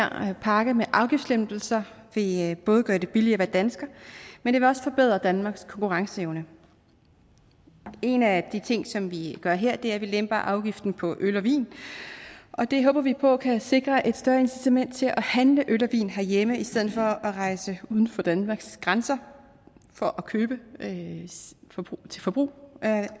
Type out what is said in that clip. her pakke med afgiftslempelser vil både gøre det billigere at være dansker men det vil også forbedre danmarks konkurrenceevne en af de ting som vi gør her er at vi lemper afgiften på øl og vin og det håber vi på kan sikre et større incitament til at handle øl og vin herhjemme i stedet for at rejse uden for danmarks grænser for at købe til forbrug af